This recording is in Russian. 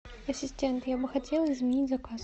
ассистент я бы хотела изменить заказ